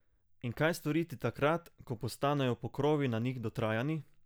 In kaj storiti takrat, ko postanejo pokrovi na njih dotrajani?